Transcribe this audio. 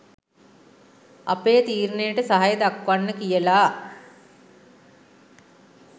අපේ තීරණයට සහය දක්වන්න කියලා.